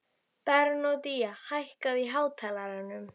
Bernódía, hækkaðu í hátalaranum.